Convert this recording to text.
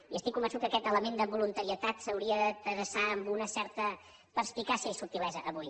i estic convençut que aquest element de voluntarietat s’hauria de traçar amb una certa perspicàcia i subtilesa avui